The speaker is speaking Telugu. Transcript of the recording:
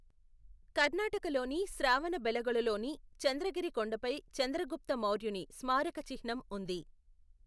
కర్ణాటకలోని శ్రావణబెళగొళలోని చంద్రగిరి కొండపై చంద్రగుప్త మౌర్యుని స్మారక చిహ్నం ఉంది.